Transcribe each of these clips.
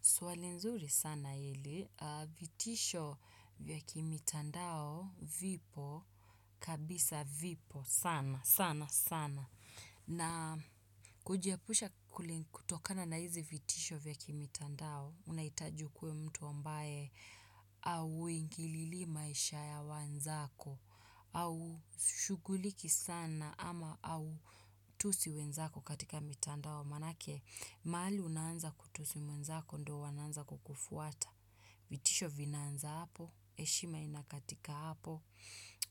Swali nzuri sana hili, vitisho vya kimitandao vipo, kabisa vipo, sana, sana, sana. Na kujiepusha kutokana na hizi vitisho vya kimitandao unahitaji ukuwe mtu ambaye hauingililii maisha ya wenzako. Haushughuliki sana ama hautusi wenzako katika mitandao. Kwa maanake mahali unaanza kutusi mwenzako ndio wananza kukufuata. Vitisho vinanza hapo, heshima inakatika hapo.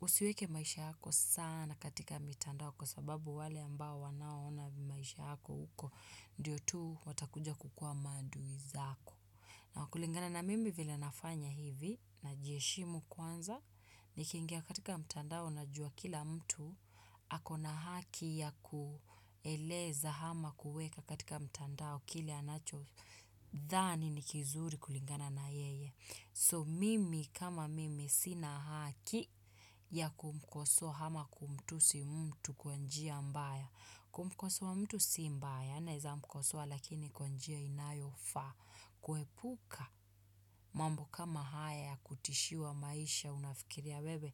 Usiweke maisha yako sana katika mitandao kwa sababu wale ambao wanaoona maisha yako huko. Ndiyo tu watakuja kukuwa maadui zako. Na kulingana na mimi vile nafanya hivi najiheshimu kwanza. Nikingia katika mtandao najua kila mtu ako na haki ya kueleza ama kuweka katika mtandao kile anacho dhani ni kizuri kulingana na yeye so mimi kama mimi sina haki ya kumkosoa ama kumtusi mtu kwa njia mbaya kumkosoa mtu si mbaya naweza mkosoa lakini kwa njia inayofaa. Kuepuka mambo kama haya ya kutishiwa maisha unafikiria wewe.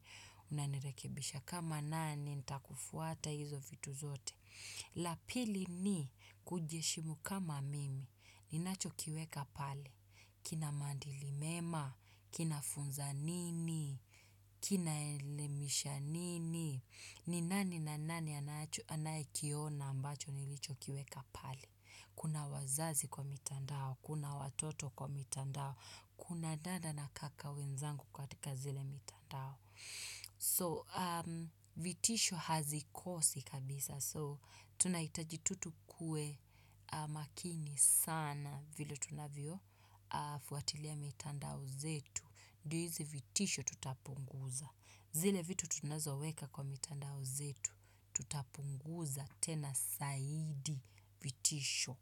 Unanirekebisha kama nani nitakufuata hizo vitu zote. La pili ni kujiheshimu kama mimi ninachokiweka pale kina maadili mema kinafunza nini kinaelemisha nini. Ni nani na nani anayekiona ambacho nilichokiweka pale kuna wazazi kwa mitandao kuna watoto kwa mitandao kuna dada na kaka wenzangu katika zile mitandao So vitisho hazikosi kabisa so tunahitaji tu tukuwe makini sana vile tunavyofuatilia mitandao zetu. Ndio hizi vitisho tutapunguza. Zile vitu tunazoweka kwa mitandao zetu tutapunguza tena zaidi vitisho.